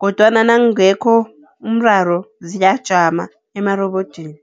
Kodwana nakungekho umraro ziyajama emarobodini.